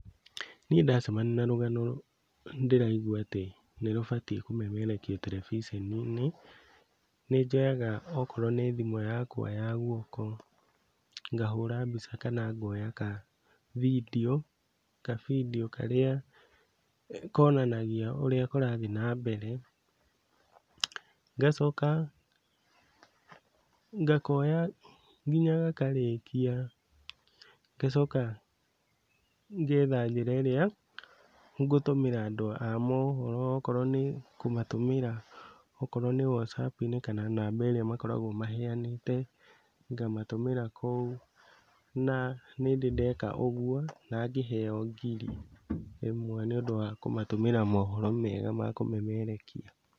Niĩ ndacemania na rũgano ndĩraigua atĩ nĩrũbatiĩ kũmemerekio terebiceni-inĩ, nĩnjoyaga okorwo nĩ thimũ yakwa ya guoko, ngahũra mbica kana ngoya ka vidiũ, kavidiũ karĩa konanagia ũrĩa kũrathiĩ na mbere, ngacoka ngakoya nginya gakarĩkia, ngacoka ngetha njĩra ĩrĩa ngũtũmĩra andũ a mohoro okorwo nĩ WhatsApp-inĩ kana namba ĩrĩa makoragwo maheanĩte ngamatũmĩra kũu na nĩndĩ ndeka ũguo na ngĩheo ngiri ĩmwe nĩũndũ wa kũmatũmĩra mohoro mega ma kũmemerekia.